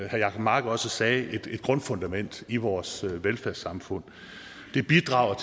herre jacob mark også sagde et grundfundament i vores velfærdssamfund det bidrager